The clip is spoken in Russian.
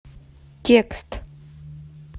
текст